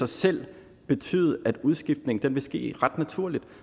selv betyde at udskiftningen vil ske ret naturligt